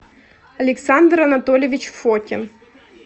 александр анатольевич фокин